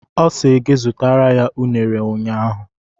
Ọ sị gị zụtara ya unere ụnyaahụ.